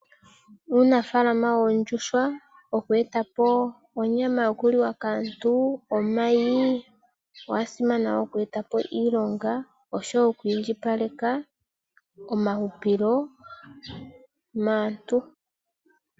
Uunafaalama woondjuhwa, oku e ta po onyama yoku liwa kaantu, omayi, owa simana wo oku e ta po iilonga oshowo oku indjipaleka omahupilo maantu.